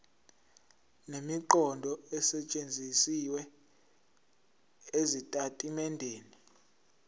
nemiqondo esetshenzisiwe ezitatimendeni